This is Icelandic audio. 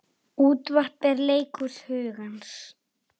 Útvarp er leikhús hugans.